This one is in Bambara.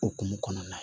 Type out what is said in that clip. Okumu kɔnɔna na